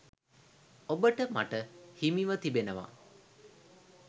ඔබට මට හිමිව තිබෙනවා.